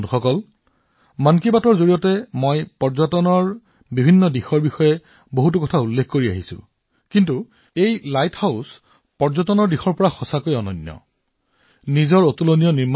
বন্ধুসকল মন কী বাতত মই বহুবাৰ পৰ্যটনৰ বিভিন্ন দিশৰ বিষয়ে কথা পাতিছো কিন্তু পৰ্যটনৰ ক্ষেত্ৰত এই লাইট হাউচ পৰ্যটনৰ দিশৰ পৰা অতুলনীয়